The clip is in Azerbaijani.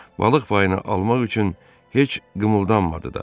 Balıq payını almaq üçün heç qımıldanmadı da.